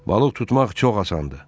Balıq tutmaq çox asandı.